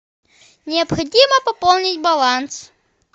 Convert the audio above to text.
необходимо пополнить баланс